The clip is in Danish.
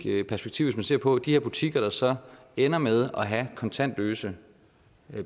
perspektiv man ser på de her butikker der så ender med at have kontantløse